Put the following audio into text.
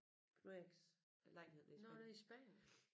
Knud Eriks lejlighed nede i Spanien